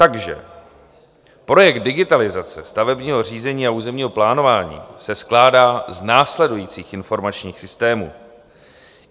Takže projekt digitalizace stavebního řízení a územního plánování se skládá z následujících informačních systémů: